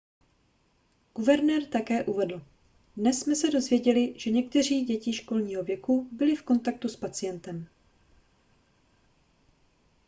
guvernér také uvedl dnes jsme se dozvěděli že některé děti školního věku byly v kontaktu s pacientem